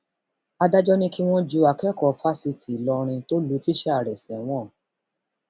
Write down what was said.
adájọ ti ní kí wọn ju akẹkọọ fásitì ìlọrin tó lu tíṣà rẹ sẹwọn